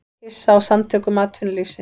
Hissa á Samtökum atvinnulífsins